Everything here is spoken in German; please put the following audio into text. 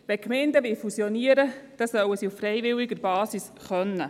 Wenn Gemeinden fusionieren wollen, sollen sie dies auf freiwilliger Basis tun können.